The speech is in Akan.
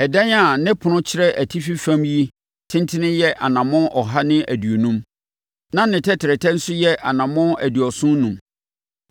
Ɛdan a ne ɛpono kyerɛ atifi fam yi tentene yɛ anammɔn ɔha ne aduonum, na ne tɛtrɛtɛ nso yɛ anammɔn aduɔson enum.